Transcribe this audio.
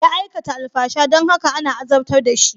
Ya aikata alfasha don haka ana azabtar da shi.